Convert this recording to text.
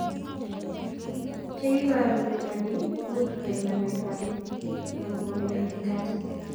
Che iporu mionindo ni much koek amet ap metit anan ngwonindo ing katit.